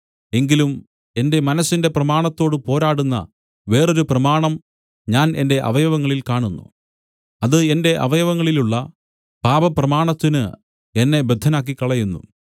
എങ്കിലും എന്റെ മനസ്സിന്റെ പ്രമാണത്തോടു പോരാടുന്ന വേറൊരു പ്രമാണം ഞാൻ എന്റെ അവയവങ്ങളിൽ കാണുന്നു അത് എന്റെ അവയവങ്ങളിലുള്ള പാപപ്രമാണത്തിന് എന്നെ ബദ്ധനാക്കിക്കളയുന്നു